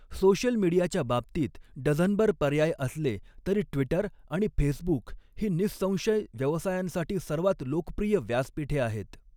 Social मीडियाच्या बाबतीत डझनभर पर्याय असले तरी ट्विटर आणि फेसबुक ही निःसंशय व्यवसायांसाठी सर्वात लोकप्रिय व्यासपीठे आहेत.